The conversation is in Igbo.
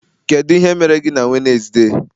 kedu ihe mere gị na Wednesday?